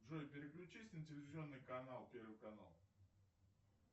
джой переключись на телевизионный канал первый канал